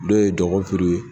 Dɔw ye DƆGƆFIRI ye.